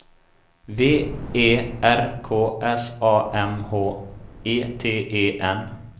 V E R K S A M H E T E N